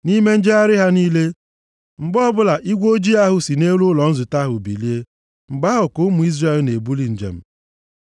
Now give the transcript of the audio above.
Nʼime njegharị ha niile, mgbe ọbụla igwe ojii ahụ si nʼelu ụlọ nzute ahụ bilie, mgbe ahụ ka ụmụ Izrel na-ebuli njem.